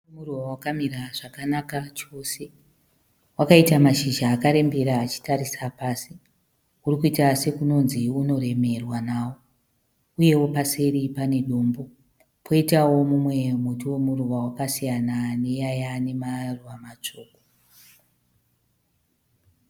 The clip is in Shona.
Muruva wakamira zvakanaka chose. Wakaita mashizha akarembera achitarisa pasi. Uri kuita sekunonzi unoremerwa nawo uyewo paseri pane dombo, poitawo mumwe muti wemuruva wakasiyana neiyaya ane maruva matsvuku.